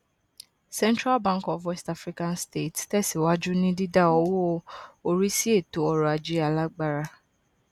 central bank of west african states tẹsíwájú ní dídá owó orí sí ètò ọrọ ajé alágbára